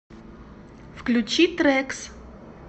включи трэкс